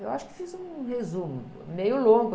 Eu acho que fiz um resumo, meio longo.